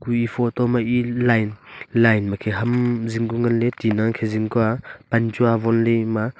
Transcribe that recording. e photo ma line makhe ham zing ku ngan ley pan chu awon ley.